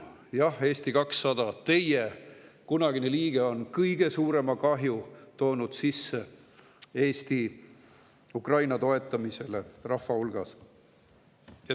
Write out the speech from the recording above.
Jah, Eesti 200, teie kunagine liige on toonud Eesti rahva hulgas Ukraina toetamisele kõige suurema kahju.